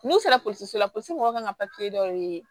N'u sera pɔsi la polisi mɔgɔw ka kan ka dɔ ɲini